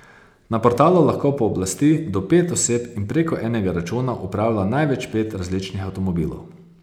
Na portalu lahko pooblasti do pet oseb in preko enega računa upravlja največ pet različnih avtomobilov.